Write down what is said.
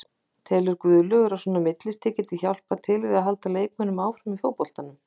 Telur Guðlaugur að svona millistig gæti hjálpað til við að halda leikmönnum áfram í fótboltanum?